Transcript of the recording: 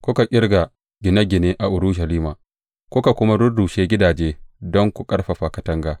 Kuka ƙirga gine gine a Urushalima kuka kuma rurrushe gidaje don ku ƙarfafa katanga.